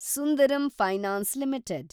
Sundaram finance limited